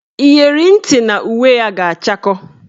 Iyeri ntị na uwe ya ga-achakọ